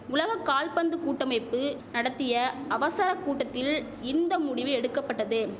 உலக கால்பந்து கூட்டமைப்பு நடத்திய அவசர கூட்டத்தில் இந்த முடிவு எடுக்கபட்டது